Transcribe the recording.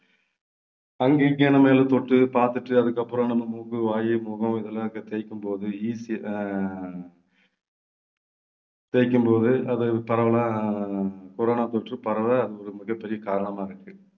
அங்க இங்க நாம எதைத்தொட்டு பாத்துட்டு அதுக்கப்புறம் நம்ம மூக்கு, வாய், முகம் இதெல்லாம் தேய்க்கும்போது eas~ ஆஹ் தேய்க்கும்போது அது பரவலா corona தொற்று பரவ அது ஒரு மிகப்பெரிய காரணமா இருக்கு